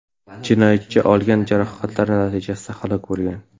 Jinoyatchi olgan jarohatlari natijasida halok bo‘lgan.